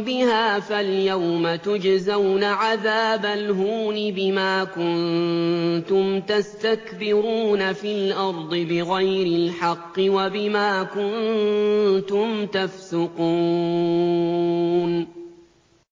بِهَا فَالْيَوْمَ تُجْزَوْنَ عَذَابَ الْهُونِ بِمَا كُنتُمْ تَسْتَكْبِرُونَ فِي الْأَرْضِ بِغَيْرِ الْحَقِّ وَبِمَا كُنتُمْ تَفْسُقُونَ